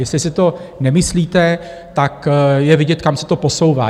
Jestli si to nemyslíte, tak je vidět, kam se to posouvá.